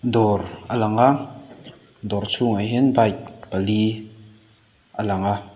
dawr a lang a adawr chhunga hian bike pali a lang a.